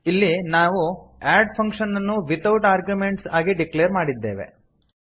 ಇಲ್ಲಿ ನಾವು add function ಅನ್ನು ವಿತೌಟ್ ಆರ್ಗ್ಯುಮೆಂಟ್ಸ್ ಆಗಿ ಡಿಕ್ಲೇರ್ ಮಾಡಿದ್ದೇವೆ